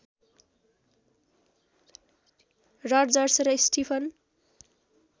Rodgers र Stephen